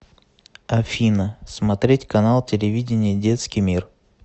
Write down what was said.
афина смотреть канал телевидения детский мир